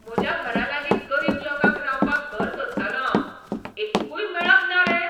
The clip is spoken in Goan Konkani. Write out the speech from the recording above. म्हज्या घरा लागीं गरीब लोकांक रावपाक घर सोदतालों हांव, एक्कूय मेळप ना रे?